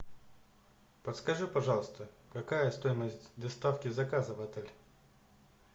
подскажи пожалуйста какая стоимость доставки заказа в отель